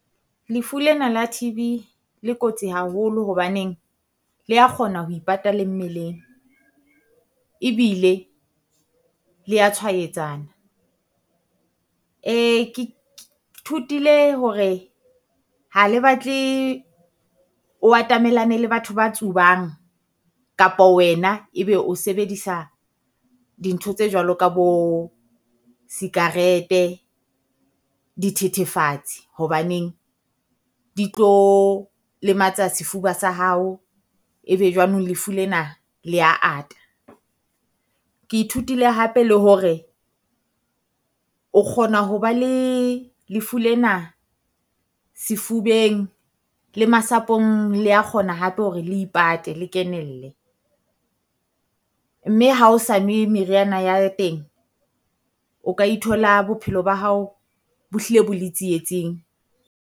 Lefu lena la T_B le kotsi haholo hobaneng, lea kgona ho ipata le mmeleng. Ebile le ya tshwaetsana, thutile hore ha le batle o atamelane le batho ba tsubang, kapo wena ebe o sebedisa dintho tse jwalo ka bo sikarete, dithethefatsi hobaneng. Di tlo lematsa sefuba sa hao ebe jwanong lefu lena, lea ata, ke ithutile hape le hore o kgona ho ba le lefu lena sefubeng le masapong lea kgona hape hore le ipate le kenelle. Mme ha o sa nwe meriana ya teng, o ka ithola bophelo ba hao bo hlile bo le tsietsing.